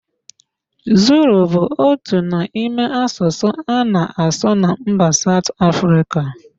Zulu bụ otu n'ime asụsụ a na-asụ na mba Saụt Afrịka